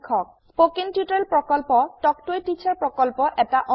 spoken tutorial প্ৰকল্প talk to a teacher প্ৰকল্পৰ এটা অংগ